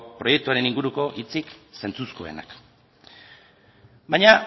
proiektuaren inguruko hitzik zentzuzkoenak baina